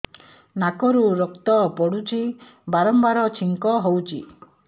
ନାକରୁ ରକ୍ତ ପଡୁଛି ବାରମ୍ବାର ଛିଙ୍କ ହଉଚି